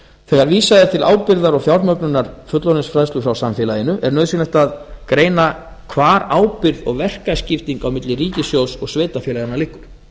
þegar vísað er til ábyrgðar og fjármögnunar fullorðinsfræðslu frá samfélaginu er nauðsynlegt að greina hvar ábyrgð og verkaskiptingin á milli ríkissjóðs og sveitarfélaganna liggur